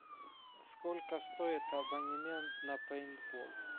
сколько стоит абонемент на пейнтбол